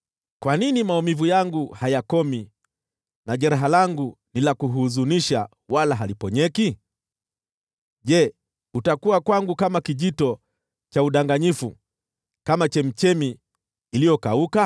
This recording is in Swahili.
Kwa nini maumivu yangu hayakomi, na jeraha langu ni la kuhuzunisha, wala haliponyeki? Je, utakuwa kwangu kama kijito cha udanganyifu, kama chemchemi iliyokauka?